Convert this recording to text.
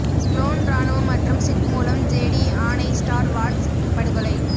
clone இராணுவம் மற்றும் Sith மூலம் ஜெடி ஆணை ஸ்டார் வார்ஸ் படுகொலை